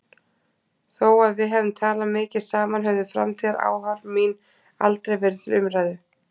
Þó að við hefðum talað mikið saman höfðu framtíðaráform mín aldrei verið til umræðu.